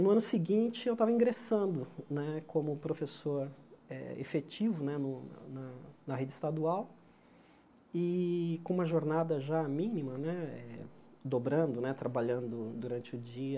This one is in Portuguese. No ano seguinte, eu estava ingressando né como professor eh efetivo né no na na rede estadual, e com uma jornada já mínima né, dobrando né, trabalhando durante o dia,